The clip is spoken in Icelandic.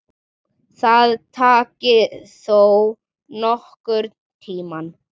Það taki þó nokkurn tíma.